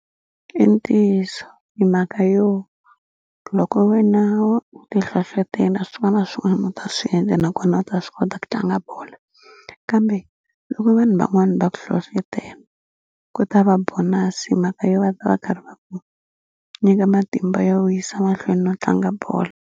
I ntiyiso hi mhaka yo loko wena u ti hlohlotela swin'wana swin'wana u ta swi endla nakona u ta swi kota ku tlanga bolo kambe loko vanhu van'wani va ku hlohlotela ku ta va bonus himhaka yo va ta va karhi va ku nyika matimba yo yisa mahlweni no tlanga bolo.